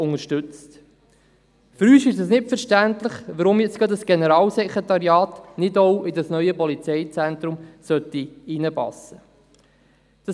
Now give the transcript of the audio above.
Für uns ist es nicht verständlich, weshalb ausgerechnet ein Generalsekretariat nicht in ein solches neues Polizeizentrum hineinpassen soll.